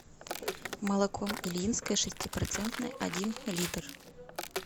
молоко ильинское шестипроцентное один литр